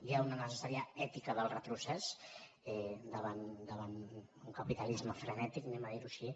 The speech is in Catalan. hi ha una necessària ètica del retrocés davant un capitalisme frenètic diguem ho així